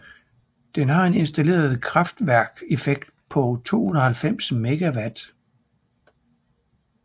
Den har en installeret kraftværkeffekt på 290 MW